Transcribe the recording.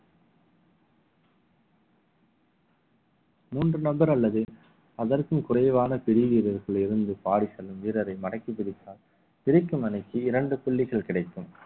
மூன்று நபர் அல்லது அதற்கும் குறைவான பெரிய வீரர்கள் இருந்து பாடி செல்லும் வீரரை மடக்கிப் பிடித்தார் பிரிக்கும் அணிக்கு இரண்டு புள்ளிகள் கிடைக்கும்